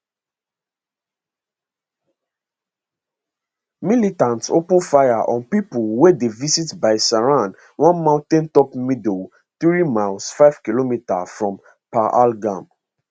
militants open fire on pipo wey dey visit baisaran one mountaintop meadow three miles 5 km from pahalgam